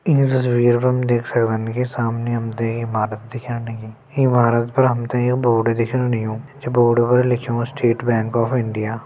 ईं तस्वीर पर हम देख सक्दन की सामने हमते ईं इमारत दिख्यान लगीं इमारत पर हमते युं बोर्ड दिखेण लग्युं ये बोर्ड पर लिख्युं स्टेट बैंक ऑफ़ इंडिया ।